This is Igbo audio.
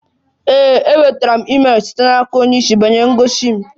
Ee, enwetara m email site n'aka onye isi banyere ngosi m